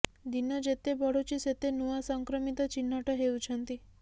ଦିନ ଯେତେ ବଢୁଛି ସେତେ ନୂଆ ସଂକ୍ରମିତ ଚିହ୍ନଟ ହେଉଛନ୍ତି